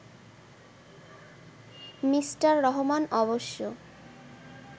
Mr Rahman অবশ্য